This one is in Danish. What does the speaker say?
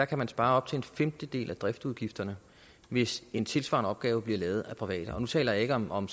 kan spare op til en femtedel af driftsudgifterne hvis en tilsvarende opgave bliver lavet af private og nu taler jeg ikke om om